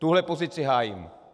Tuhle pozici hájím.